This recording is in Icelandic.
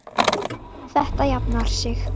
Þetta jafnar sig.